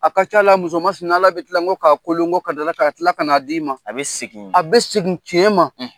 A ka c'a la muso masina Ala bɛ tilan kɔ k'a kolon ka ka dila ka na d'i ma, a bɛ segin, a bɛ segin tiɲɛ ma